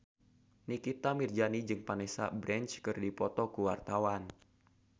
Nikita Mirzani jeung Vanessa Branch keur dipoto ku wartawan